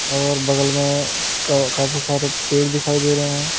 और बगल में काफी सारे पेड़ दिखाई दे रहे हैं।